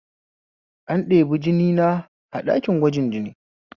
An ɗebi jinina a ɗakin gwajin jini